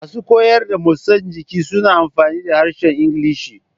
Masu koyar da motsa jiki suna amfani da harshen Ingilishi.